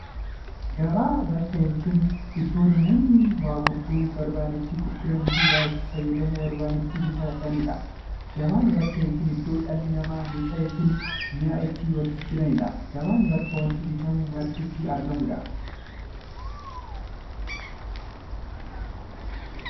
Gabaan bakka yookiin iddoo namoonni waan gurguruu barbaadan itti gurguraniifi waan itti fayyadamuu barbaadan itti bitataniidha. Gabaan bakka yookiin iddoo dhalli namaa meeshaa yookiin mi'a itti waljijjiiraniidha. Gabaan bakka wanti bitamu marti itti argamuudha.